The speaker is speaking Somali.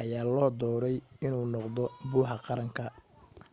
ayaa loo dooray in uu noqdo buxa qaranka